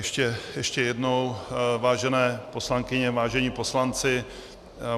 Ještě jednou, vážené poslankyně, vážení poslanci.